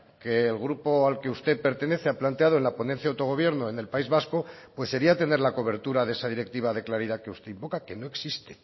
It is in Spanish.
que el grupo al que usted pertenece ha planteado en la ponencia de autogobierno en el país vasco pues sería tener la cobertura de esa directiva de claridad que usted invoca que no existe